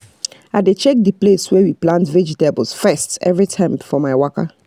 i dey check the place wey we plant vegetables first every time for my waka